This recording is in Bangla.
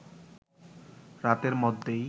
রাতের মধ্যেই